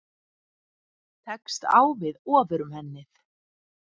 Tekst á við Ofurmennið